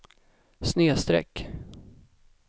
snedsträck